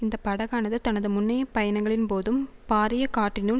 இந்த படகானது தனது முன்னைய பயணங்களின்போதும் பாரிய காற்றினுள்